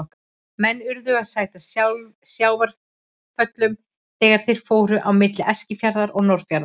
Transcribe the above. Menn urðu að sæta sjávarföllum þegar þeir fóru á milli Eskifjarðar og Norðfjarðar.